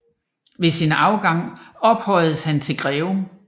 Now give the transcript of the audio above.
Ved sin afgang ophøjedes han til greve